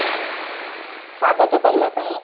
ସ୍ଵାଗତ କରିବା ପାଇଁ